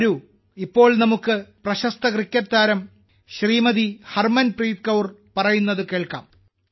വരൂ ഇപ്പോൾ നമുക്ക് പ്രശസ്ത ക്രിക്കറ്റ് താരം ഹർമൻപ്രീത് കൌർ ജി പറയുന്നത് കേൾക്കാം